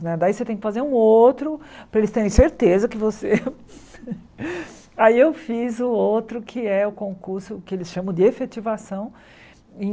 Né daí você tem que fazer um outro para eles terem certeza que você... Aí eu fiz o outro que é o concurso que eles chamam de efetivação em